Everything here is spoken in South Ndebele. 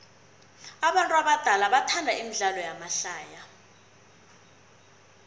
abantu abadala bathanda imidlalo yamahlaya